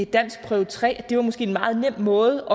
danskprøve tre måske var en meget nem måde